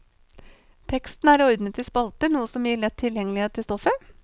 Teksten er ordnet i spalter, noe som gir lett tilgjengelighet til stoffet.